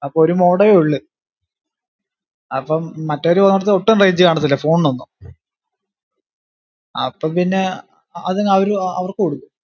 അപ്പോ ഒരു modem എ ഉള്ള് അപ്പം മറ്റവര് പൊന്നടത് ഒട്ടും range കാണത്തില്ല phone നൊന്നും അപ്പൊ പിന്നെ ഏർ അത് ഏർ അതങ്പിന്നെ അവർക്ക്കൊടുത്തു.